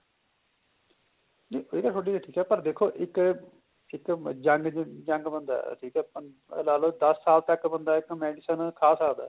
ਜੇ ਕਹਿਏ ਨਾ ਤੁਹਾਡੀ ਇਹ ਠੀਕ ਏ ਪਰ ਦੇਖੋ ਇੱਕ ਇੱਕ young young ਬਣਦਾ ਠੀਕ ਏ ਲਾ ਲੋ ਦੱਸ ਸਾਲ ਤੱਕ ਬੰਦਾ ਇੱਕ medicine ਖਾ ਸਕਦਾ